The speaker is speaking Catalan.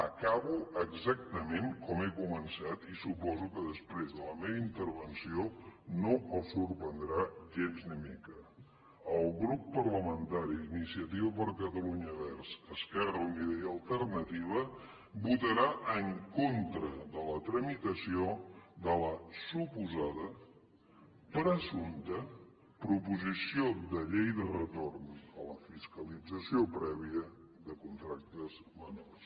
acabo exactament com he començat i suposo que després de la meva intervenció no els sorprendrà gens ni mica el grup parlamentari d’iniciativa per catalunya verds esquerra unida i alternativa votarà en contra de la tramitació de la suposada presumpta proposició de llei de retorn a la fiscalització prèvia de contractes menors